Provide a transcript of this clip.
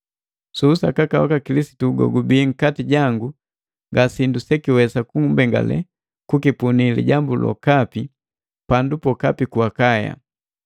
Su usakaka waka Kilisitu gogubii nkati jangu, ngasindu sekiwesa kumbengale kukipunii lijambu lokapi pandu pokapi ku Akaya.